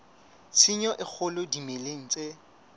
tshenyo e kgolo dimeleng tse